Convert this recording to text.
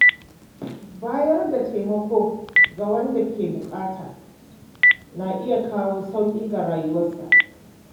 Bayar da taimako ga wanda ke matuƙar buƙata na iya kawo sauƙi ga rayuwarsa.